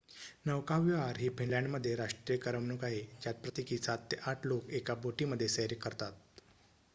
नौकाविहार ही फिनलँडमध्ये राष्ट्रीय करमणूक आहे ज्यात प्रत्येकी ७ ते ८ लोक एका बोटीमध्ये सैर करतात